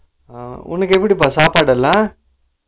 உனக்கு எப்படிப்பா சாப்பாடு எல்லா